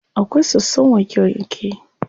Akwai sosson wanke wanke.